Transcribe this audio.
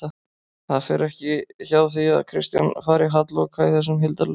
Það fer ekki hjá því að Kristján fari halloka í þessum hildarleik